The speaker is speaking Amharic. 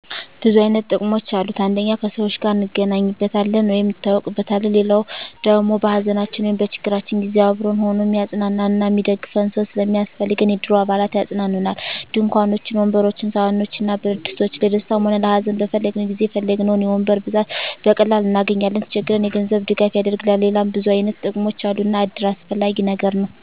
ብዙ አይነት ጥቅሞች አሉት አንደኛ ከሰዎች ጋር እንገናኝበታለን ወይም እንተዋወቅበታለን። ሌላዉ ደሞ በሀዘናችን ወይም በችግራችን ጊዜ አብሮን ሁኖ እሚያፅናናን እና እሚደግፈን ሰዉ ስለሚያስፈልገን የእድሩ አባላት ያፅናኑናል፣ ድንኳኖችን፣ ወንበሮችን፣ ሰሀኖችን እና ብረትድስቶችን ለደስታም ሆነ ለሀዘን በፈለግነዉ ጊዜ የፈለግነዉን የወንበር ብዛት በቀላሉ እናገኛለን። ሲቸግረን የገንዘብ ድጋፍ ያደርግልናል ሌላም ብዙ አይነት ጥቅሞች አሉ እና እድር አስፈላጊ ነገር ነዉ።